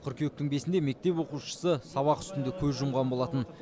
қыркүйектің бесінде мектеп оқушысы сабақ үстінде көз жұмған болатын